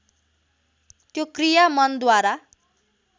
त्यो क्रिया मनद्वारा